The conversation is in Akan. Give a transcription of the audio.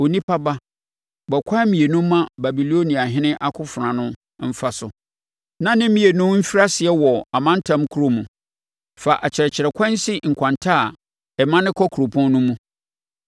“Onipa ba, bɔ akwan mmienu ma Babiloniahene akofena no mfa so, na ne mmienu mfiri aseɛ wɔ amantam korɔ mu. Fa akyerɛkyerɛkwan si nkwanta a ɛmane kɔ kuropɔn no mu.